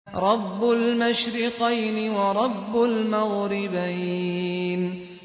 رَبُّ الْمَشْرِقَيْنِ وَرَبُّ الْمَغْرِبَيْنِ